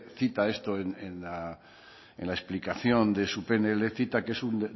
cita esto en la explicación de su pnl cita que es un